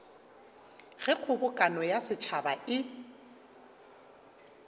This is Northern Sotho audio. ge kgobokano ya setšhaba e